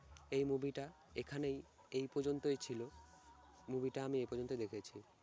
এই movie টা এখানেই এই পর্যন্তই ছিল। movie টা আমি এই পর্যন্তই দেখেছি।